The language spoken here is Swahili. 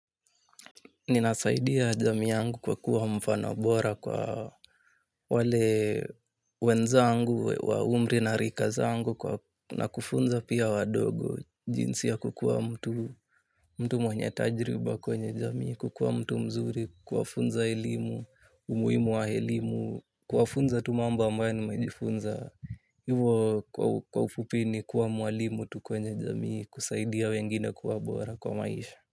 Ninasaidia jamii yangu kwa kuwa mfano bora kwa wale wenzangu, wa umri na rika zangu na kufunza pia wadogo jinsi ya kukuwa mtu mtu mwenye tajriba kwenye jamii, kukuwa mtu mzuri, kuwafunza elimu, umuimu wa elimu, kufunza tu mambo ambayo nimejifunza. Hivo kwa ufupi ni kuwa mwalimu tu kwenye jamii, kusaidia wengine kuwa bora kwa maisha.